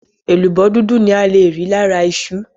Èlùbọ́ dúdú ni ale rí lára iṣu.